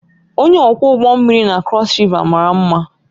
Onye ọkwọ ụgbọ mmiri na Crossriver mara mma